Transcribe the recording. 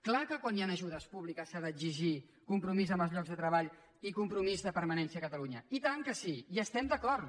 clar que quan hi han ajudes públiques s’ha d’exigir compromís amb els llocs de treball i compromís de permanència a catalunya i tant que sí hi estem d’acord